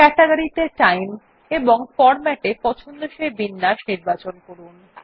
category ত়ে time এবং format এ পছন্দসই বিন্যাস নির্বাচন করুন